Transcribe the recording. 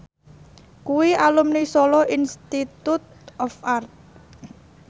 kuwi alumni Solo Institute of Art